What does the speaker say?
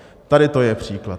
Tady to je příklad.